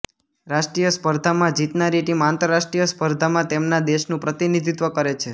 રાષ્ટ્રીય સ્પર્ધામાં જીતનારી ટીમ આંતરરાષ્ટ્રીય સ્પર્ધામાં તેમના દેશનું પ્રતિનિધિત્વ કરે છે